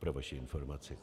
Pro vaši informaci.